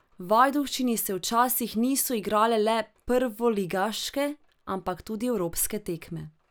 V Ajdovščini se včasih niso igrale le prvoligaške, ampak tudi evropske tekme.